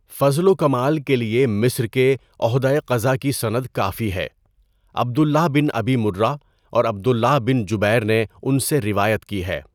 فضل و کمال کے لیے مصر کے عہدۂ قضا کی سند کافی ہے۔ عبد اللہ بن اَبِی مُرّہ اورعبد اللہ بن جُبیر نے ان سے روایت کی ہے۔